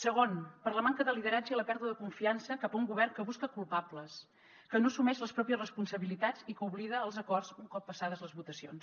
segon per la manca de lideratge i la pèrdua de confiança cap a un govern que busca culpables que no assumeix les pròpies responsabilitats i que oblida els acords un cop passades les votacions